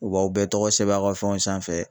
U b'aw bɛɛ tɔgɔ sɛbɛn aw ka fɛnw sanfɛ